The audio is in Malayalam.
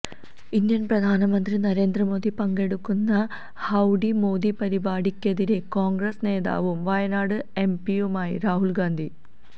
ഇന്ത്യൻ പ്രധാനമന്ത്രി നരേന്ദ്ര മോദി പങ്കെടുക്കുന്ന ഹൌഡി മോദി പരിപാടിക്കെതിരെ കോൺഗ്രസ് നേതാവും വയനാട് എംപിയുമായി രാഹുൽ ഗാന്ധി